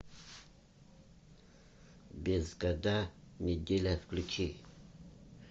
без года неделя включи